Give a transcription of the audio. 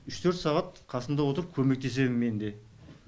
үш төрт сағат қасында отырып көмектесемін мен де